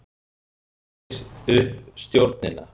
Leysir upp stjórnina